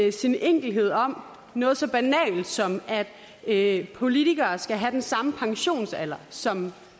i sin enkelhed om noget så banalt som at politikere skal have den samme pensionsalder som